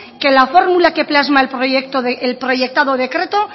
que la fórmula que plasma el proyectado decreto